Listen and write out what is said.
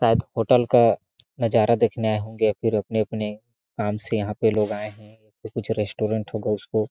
आप होटल का नजारा देखने आये होंगे पूरे अपने - अपने काम से यहाँ पे लोग आये है तो कुछ रेस्टोरेन्ट होगा उसको --